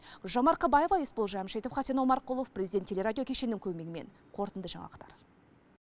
гүлжан марқабаева есбол жамшитов хасен омарқұлов президент телерадио кешенінің көмегімен қорытынды жаңалықтар